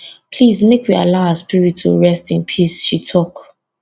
please make we allow her spirit to rest in peace she tok